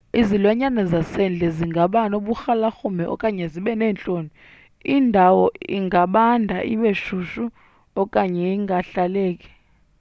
izilwanyana zasendle zingaba noburhalarhume okanye zibe neentloni indawo ingabanda ibe shushu okanye ingahlaleki